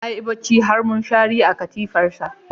Yayi bacci har mushari a katifarsa.